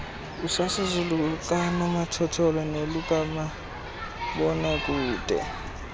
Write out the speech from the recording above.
usasazo lukanomathotholo nolukamabonakude